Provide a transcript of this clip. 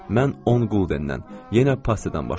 Mən 10 quldendən, yenə passiyadan başladım.